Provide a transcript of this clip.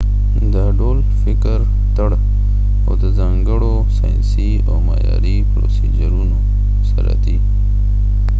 دا ډول فکر تړاو د ځانګړو ساینسی او معیاری پروسیجرونو سره دي